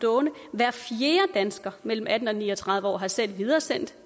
hver fjerde dansker mellem atten og ni og tredive år har selv videresendt